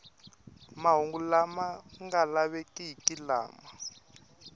mahungu lama nga lavekiki lama